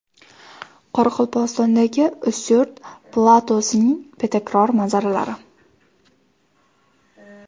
Qoraqalpog‘istondagi Ustyurt platosining betakror manzaralari .